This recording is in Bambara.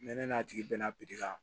Mɛ ne n'a tigi bɛna ka